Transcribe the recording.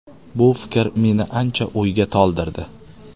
Bu fikr meni ancha o‘yga toldirdi.